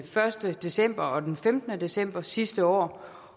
første december og den femtende december sidste år